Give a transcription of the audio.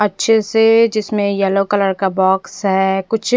अच्छे से जिसमे येल्लो कलर का बॉक्स है कुछ--